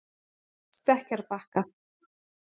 Stekkjarbakka